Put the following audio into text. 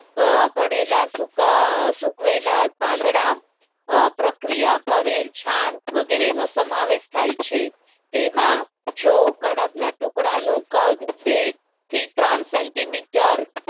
પડેલા સૂકવેલા પાંદડા અ પ્રક્રિયા કરેલ છાણ વગેરેનો સમાવેશ થાય છે તેમાં જો કડબના ટુકડાનું કદ બે થી ત્રણ સેન્ટીમીટર